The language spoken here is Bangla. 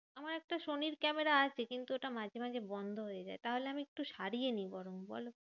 আমার একটা সনির ক্যামেরা আছে, কিন্তু ওটা মাঝে মাঝে বন্ধ হয়ে যায়। তাহলে আমি একটু সারিয়ে নি বরং বলো?